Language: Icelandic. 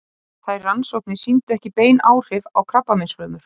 Þær rannsóknir sýndu ekki bein áhrif á krabbameinsfrumur.